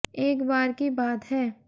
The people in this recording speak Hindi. एक बार की बात है